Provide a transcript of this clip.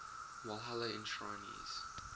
walhalla enshrinees